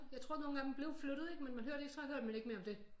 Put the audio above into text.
Jeg tror nogle af dem blev flyttet ikke men man hørte ikke så hørte man ikke mere om det